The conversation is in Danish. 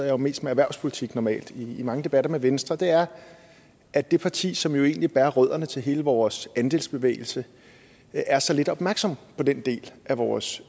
jo mest med erhvervspolitik normalt i mange debatter med venstre er at det parti som jo egentlig bærer rødderne til hele vores andelsbevægelse er så lidt opmærksom på den del af vores